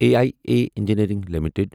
A I A engineering limited